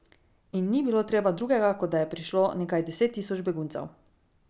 In ni bilo treba drugega, kot da je prišlo nekaj deset tisoč beguncev.